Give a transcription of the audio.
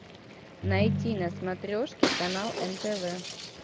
найти на смотрешке канал нтв